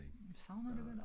Nej det er det ikke